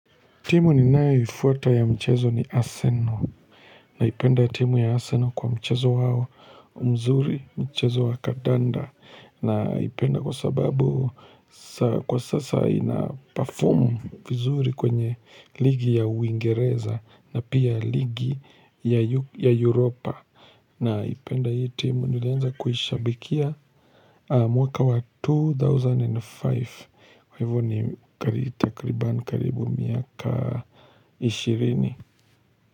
Timu ninayeifuata ya mchezo ni Aseno naipenda timuu ya Aseno kwa mchezo wao mzuri mchezo wa kadanda naipenda kwa sababu kwa sasa ina perform vizuri kwenye ligi ya uingereza na pia ligi ya Europa. Naipenda hii timu nilianza kuhishabikia mwaka wa two thousand and five kwa ivo ni takribani karibu miaka ishirini.